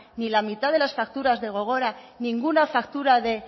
ni la mitad de las facturas de gogora ninguna factura de